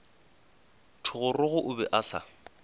thogorogo o be a sa